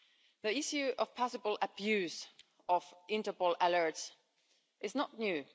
The issue of the possible abuse of Interpol alerts is not new.